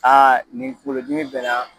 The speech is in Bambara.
nin kungolo dimi bɛ n na